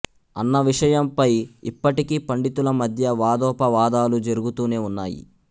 అన్న విషయంపై ఇప్పటికీ పండితుల మధ్య వాదోపవాదాలు జరుగుతూనే ఉన్నాయి